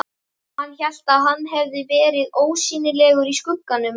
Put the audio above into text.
Hann hélt að hann hefði verið ósýnilegur í skugganum!